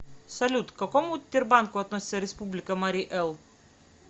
салют к какому тербанку относится республика марий эл